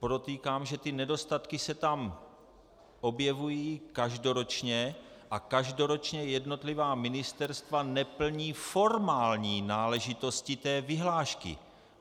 Podotýkám, že ty nedostatky se tam objevují každoročně a každoročně jednotlivá ministerstva neplní formální náležitosti té vyhlášky.